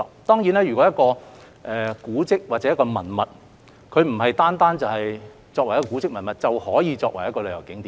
當然，一個古蹟或文物不單是作為古蹟文物便可以作為旅遊景點的。